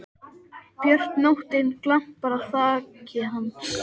björt nóttin glampar á þaki hans.